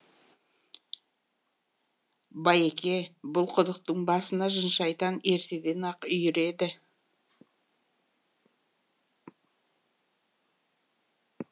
байеке бұл құдықтың басына жын шайтан ертеден ақ үйір еді